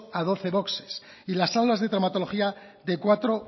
a doce boxes y las salas de traumatología de cuatro